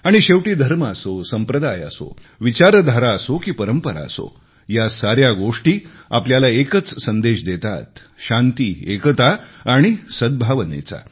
आणि शेवटी धर्म असो संप्रदाय असो विचारधारा असो की परंपरा असो या साऱ्या गोष्टी आपल्याला एकच संदेश देतात शांती एकता आणि सद्भावनेचा